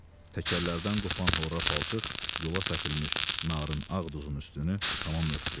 Təkərlərdən qopan horrra palçıq yola səpilmiş narın ağ duzun üstünü tamam örtdü.